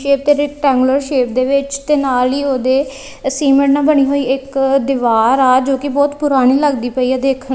ਕੇ ਤੇਰੇ triangular shape ਦੇ ਵਿੱਚ ਤੇ ਨਾਲ ਹੀ ਉਹਦੇ ਸੀਮੈਂਟ ਨਾਲ ਬਣੀ ਹੋਈ ਇੱਕ ਦੀਵਾਰ ਆ ਜੋ ਕਿ ਬਹੁਤ ਪੁਰਾਣੀ ਲੱਗਦੀ ਪਈ ਆ ਦੇਖਣ--